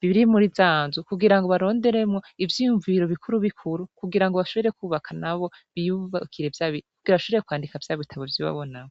biri muri zanzu kugira ngo baronderemwo ivyoyumvu biro bikuru bikuru kugira ngo bashobore kwubaka nabo biyubakire vyabikugira bashobore kwandika vya bitabo vy'iwabonao.